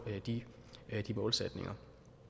de målsætninger